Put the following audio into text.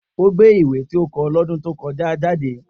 O gbe ìwé ti o ti kọ lo ọdun to kọja jade.